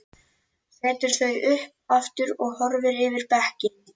Setur þau upp aftur og horfir yfir bekkinn.